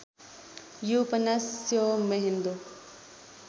यो उपन्यास स्योम्हेन्दो